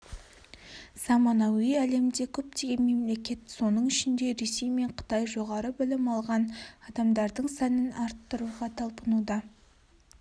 заманауи әлемде көптеген мемлекет соның ішінде ресей мен қытай жоғары білім алған адамдардың санын арттыруға талпынуда